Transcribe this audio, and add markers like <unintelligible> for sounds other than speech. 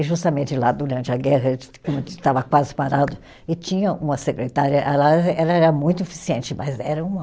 E justamente lá durante a guerra, <unintelligible> a gente estava quase parado, e tinha uma secretária ela, ela era muito eficiente, mas era uma